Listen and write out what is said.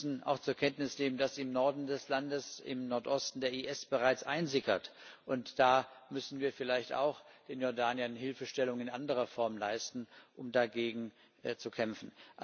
Wir müssen auch zur Kenntnis nehmen, dass im Nordosten des Landes der IS bereits einsickert. Da müssen wir vielleicht auch in Jordanien Hilfestellung in anderer Form leisten, um dagegen zu kämpfen.